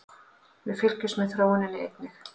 Við fylgjumst með þróuninni einnig